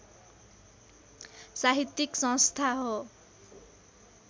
साहित्यिक संस्था हो